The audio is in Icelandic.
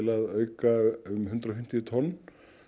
að auka um hundrað og fimmtíu tonn